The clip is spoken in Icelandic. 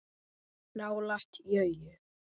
Nálægt jörðu